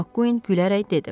Makkuin gülərək dedi.